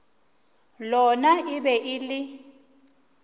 lona e be e le